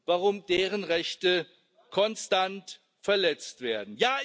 warum deren Rechte konstant verletzt werden.